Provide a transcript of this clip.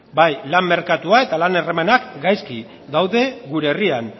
bai lan merkatua eta lan harremanak gaizki daude gure herrian